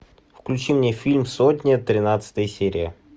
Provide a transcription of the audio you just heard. включи мне фильм сотня тринадцатая серия